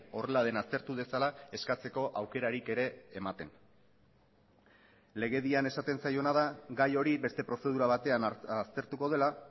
horrela den aztertu dezala eskatzeko aukerarik ere ematen legedian esaten zaiona da gai hori beste prozedura batean aztertuko dela